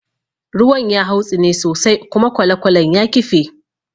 Ruwan ya hautsine sosai kuma kwalekwalen ya kife.